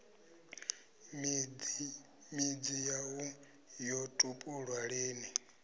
midzi yaṋu yo tupulwa lini